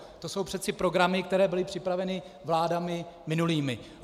To jsou přece programy, které byly připraveny vládami minulými.